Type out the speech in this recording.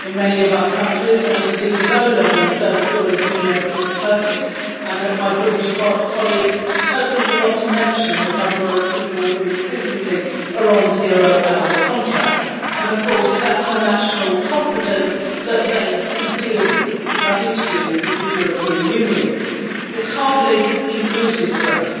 in many of our countries and, indeed, low levels do not always mean everything is perfect. I note that my British colleague totally forgot to mention the number of people who increasingly are on zero hour contracts and, of course, that is a national competence and nothing to do with the European Union. It is hardly inclusive growth.